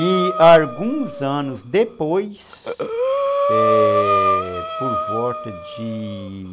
E, alguns anos depois, é... Por volta de